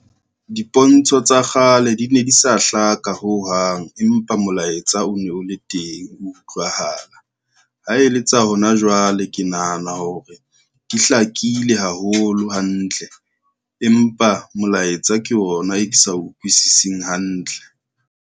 Dipontsho tsa kgale di ne di sa hlaka ho hang, empa molaetsa o ne o le teng, o utlwahala. Ha e le tsa hona jwale, ke nahana hore di hlakile haholo hantle, empa molaetsa ke ona e ke sa utlwisising hantle.